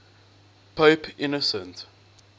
pope innocent